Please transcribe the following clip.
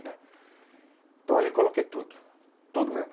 Né então ali coloquei tudo, tudo mesmo.